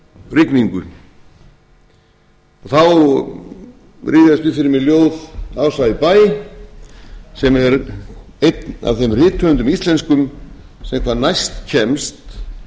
rifjaðist upp fyrir mér ljóð ása í bæ sem er einn af þeim rithöfundum íslenskum sem hvað næst kemst fegurð